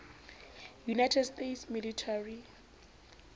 united states military